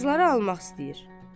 Kağızları almaq istəyir.